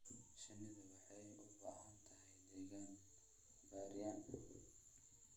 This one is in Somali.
Shinnidu waxay u baahan tahay deegaan bacrin ah.